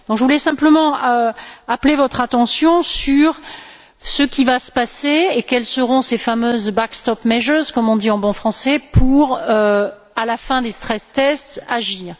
Je voulais simplement appeler votre attention sur ce qui va se passer et sur ce que seront ces fameuses backstop measures comme on dit en bon français, pour, à la fin des stress tests agir.